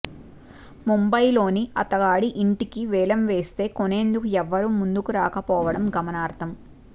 ముంబయిలోని అతగాడి ఇంటిని వేలం వేస్తే కొనేందుకు ఎవరూ ముందుకు రాకపోవటం గమనార్హం